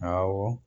Awɔ